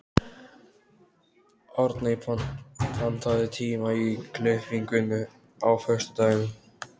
Árney, pantaðu tíma í klippingu á föstudaginn.